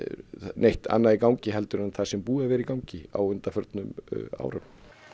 neitt annað í gangi en það sem er búið að vera í gangi á undanförnum árum